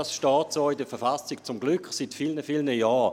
Dies steht so in der Verfassung, zum Glück seit vielen, vielen Jahren.